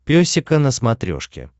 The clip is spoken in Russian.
песика на смотрешке